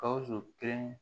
Gawusu kelen